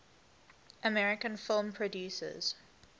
american film producers